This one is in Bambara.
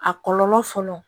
A kɔlɔlɔ fɔlɔ